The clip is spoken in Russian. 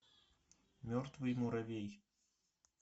мертвый муравей